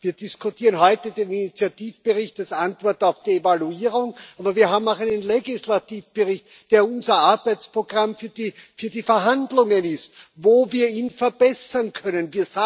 Wir diskutieren heute den Initiativbericht als Antwort auf die Evaluierung, aber wir haben auch einen Legislativbericht, der unser Arbeitsprogramm für die Verhandlungen ist, wo wir ihn verbessern können.